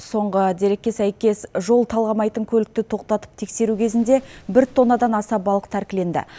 соңғы дерекке сәйкес жол талғамайтын көлікті тоқтатып тексеру кезінде бір тоннадан аса балық тәркіленді